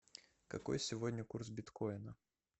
какой сегодня курс биткоина